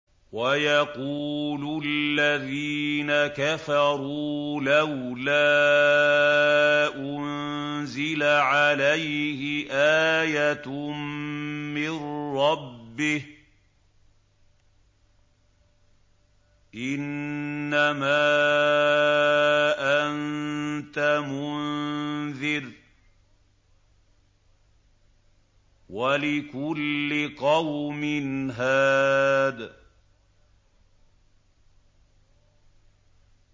وَيَقُولُ الَّذِينَ كَفَرُوا لَوْلَا أُنزِلَ عَلَيْهِ آيَةٌ مِّن رَّبِّهِ ۗ إِنَّمَا أَنتَ مُنذِرٌ ۖ وَلِكُلِّ قَوْمٍ هَادٍ